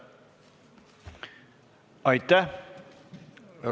Aitäh!